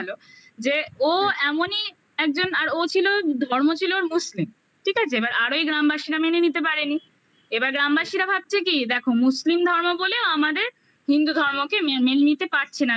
যে ও এমনই একজন আর ও ছিল ধর্ম ছিল ওর মুসলিম ঠিক আছে? এবার আরও এই গ্রামবাসীরা মেনে নিতে পারেনি এবার গ্রামবাসীরা ভাবছে কি দেখো মুসলিম ধর্ম বলেও আমাদের হিন্দু ধর্মকে মেনে নিতে পারছে না